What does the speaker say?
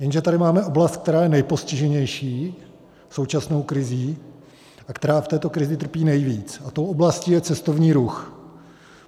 Jenže tady máme oblast, která je nejpostiženější současnou krizí, a která v této krizi trpí nejvíc, a tou oblastí je cestovní ruch.